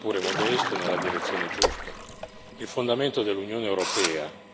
Il regolamento è un passo avanti, sia pure modesto, nella direzione giusta.